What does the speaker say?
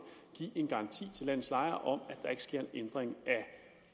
give en garanti til landets lejere om at der ikke sker en ændring af